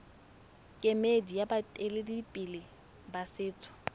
kemedi ya baeteledipele ba setso